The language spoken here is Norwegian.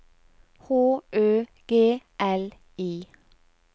H Ø G L I